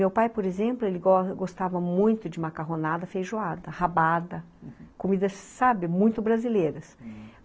Meu pai, por exemplo, ele gostava muito de macarronada, feijoada, rabada, comidas, sabe, muito brasileiras.